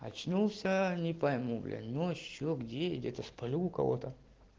очнулся не пойму блять ночью где этот полю кого-то